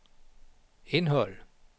indhold